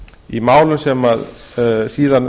í málum sem síðan